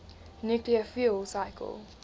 nuclear fuel cycle